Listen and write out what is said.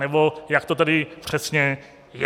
Nebo jak to tedy přesně je?